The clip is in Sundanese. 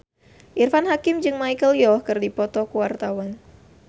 Irfan Hakim jeung Michelle Yeoh keur dipoto ku wartawan